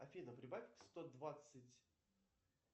афина прибавь сто двадцать